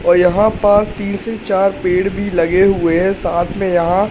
और यहां पास तीन से चार पेड़ भी लगे हुए हैं साथ में यहां--